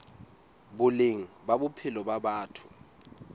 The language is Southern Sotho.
boleng ba bophelo ba batho